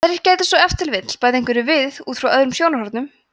aðrir gætu svo ef til vill bætt einhverju við út frá öðrum sjónarhornum